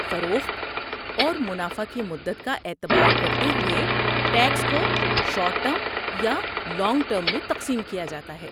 فروخت اور منافع کی مدت کا اعتبار کرتے ہوئے، ٹیکس کو شارٹ ٹرم یا لانگ ٹرم میں تقسیم کیا جاتا ہے۔